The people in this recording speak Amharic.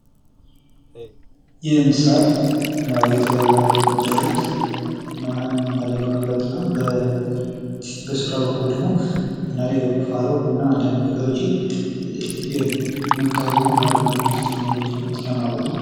ይህ ምሳር የተለያዩ ጥቅሞች አሉት። እና አንዳንድ ለመፍለጥ እና በስራ በኩል ደግሞ አንዳንድ ለቁፋሮ እና አንዳንዴ ነገሮችን መምታት ወይም ማድማት የሚያስፈልጉ ነገሮችን እንትን ለማለት ነው።